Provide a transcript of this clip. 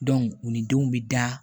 u ni denw bi da